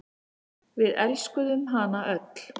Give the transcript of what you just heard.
En við elskuðum hana öll.